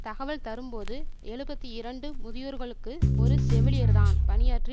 தகவல் தரும்போது எழுபத்தி இரண்டு முதியோர்களுக்கு ஒரு செவிலியர்தான் பணியாற்றி